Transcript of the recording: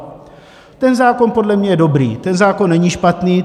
Ten zákon podle mě je dobrý, ten zákon není špatný.